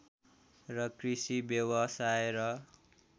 र कृषि व्यावसाय र